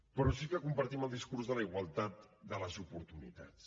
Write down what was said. però sí que compartim el discurs de la igualtat de les oportunitats